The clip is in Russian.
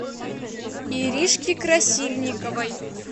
иришке красильниковой